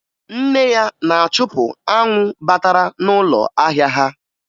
Nne ya na-achụpụ anwụ batara n'ụlọ ahịa ha